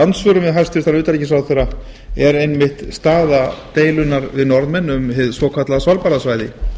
andsvörum við hæstvirtan utanríkisráðherra er einmitt staða deilunnar við norðmenn um hið svokallaða svalbarðasvæði